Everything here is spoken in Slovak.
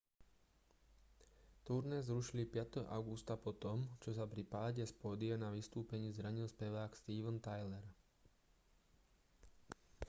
turné zrušili 5. augusta po tom čo sa pri páde z pódia na vystúpení zranil spevák steven tyler